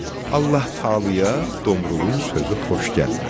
Allah-Təalaya Domrulun sözü xoş gəlmədi.